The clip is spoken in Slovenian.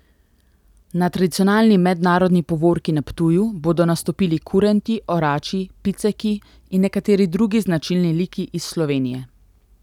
Na tradicionalni mednarodni povorki na Ptuju bodo nastopili kurenti, orači, piceki in nekateri drugi značilni liki iz Slovenije.